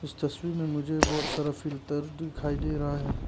इस तस्वीर में मुझे बहुत सारा फिल्टर दिखाई दे रहा है।